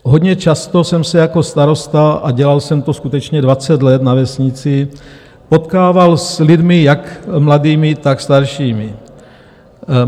Hodně často jsem se jako starosta - a dělal jsem to skutečně 20 let na vesnici - potkával s lidmi jak mladými, tak staršími.